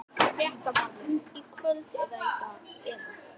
Fréttamaður: Í kvöld eða í dag eða?